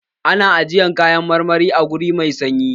Ana ajiyan kayan marmari a wuri mai sanyi.